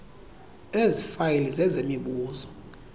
ezi fayile zezemibuzo